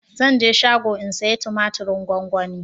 Zan je shago in saya tumatirin gwanwani